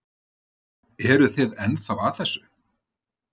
Eruð þið ennþá að þessu?